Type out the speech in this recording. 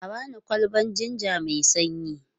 A ba ni kwalbar jinja mai sanyi.